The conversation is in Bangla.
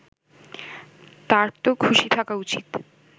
তারতো খুশি থাকা উচিত